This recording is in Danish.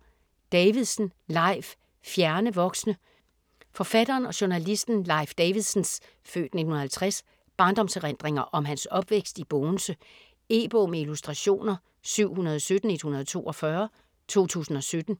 Davidsen, Leif: Fjerne voksne Forfatteren og journalisten Leif Davidsens (f. 1950) barndomserindringer om hans opvækst i Bogense. E-bog med illustrationer 717142 2017.